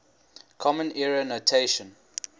common era notation